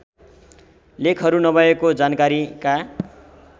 लेखहरू नभएको जानकारीका